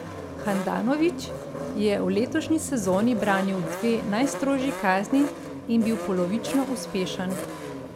Handanović je v letošnji sezoni branil dve najstrožji kazni in bil polovično uspešen.